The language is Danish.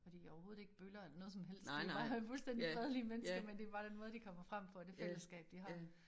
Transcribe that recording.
Og de overhovedet ikke bøller eller noget som helst de bare fuldstændig fredelige mennesker men det bare den måde de kommer frem på og det fællesskab de har